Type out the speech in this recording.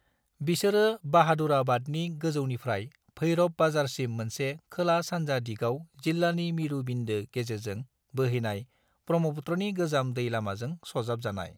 बिसोरो बाहादुराबादनि गोजौनिफ्राय भैरब बाजारसिम मोनसे खोला-सानजा दिगाव जिल्लानि मिरु बिन्दो गेजेरजों बोहैनाय ब्रह्मपुत्रनि गोजाम दै लामाजों सरजाबजानाय।